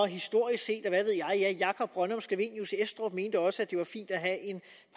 historisk set og hvad ved jeg ja jacob brønnum scavenius estrup mente også at det var fint at have en